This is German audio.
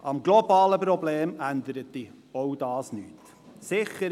Am globalen Problem änderte auch das nichts.